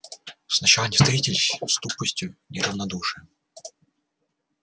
сначала они встретились с тупостью и равнодушием